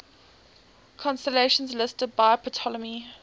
constellations listed by ptolemy